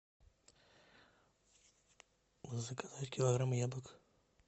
заказать килограмм яблок